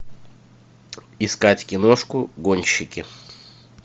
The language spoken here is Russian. искать киношку гонщики